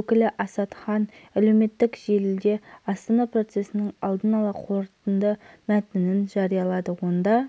ұлттар ұйымы алдағы астанада өтетін сирияға байланысты келіссөздерді женевада өтетіндамаск пен оппозиция өкілдері арасында болатын кездесуге дайындық ретінде қарастырады